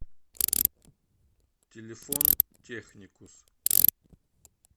телефон техникус